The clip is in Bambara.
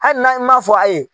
Hali na i man fɔ a ye.